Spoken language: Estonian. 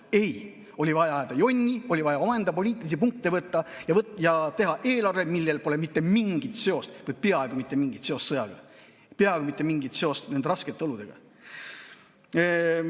Aga ei, oli vaja ajada jonni, oli vaja poliitilisi punkte võtta ja teha eelarve, millel pole mitte mingit seost või peaaegu mitte mingit seost sõjaga, peaaegu mitte mingit seost nende raskete oludega.